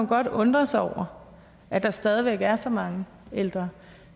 godt undre sig over at der stadig væk er så mange ældre